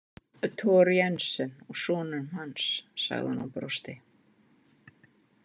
Thor Jensen og sonum hans, sagði hún og brosti.